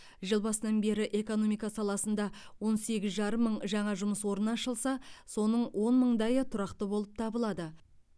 жыл басынан бері экономика саласында он сегіз жарым мың жаңа жұмыс орны ашылса соның он мыңдайы тұрақты болып табылады